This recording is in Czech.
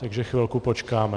Takže chvilku počkáme.